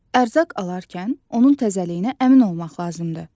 Ərzaq alarkən onun təzəliyinə əmin olmaq lazımdır.